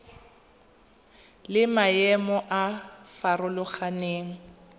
le maemo a a farologaneng